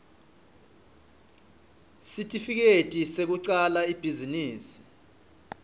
sitifiketi sekucala ibhizinisi